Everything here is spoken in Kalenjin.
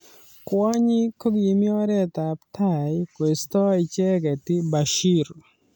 Kwonyik kokimi oret ab tai koisto icheket Bashir.